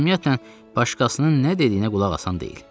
Ümumiyyətlə başqasının nə dediyinə qulaq asan deyil.